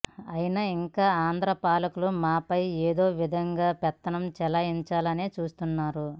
అయినా ఇంకా ఆంధ్ర పాలకులు మాపై ఏదోవిధంగా పెత్తనం చెలాయించాలనే చూస్తున్నారు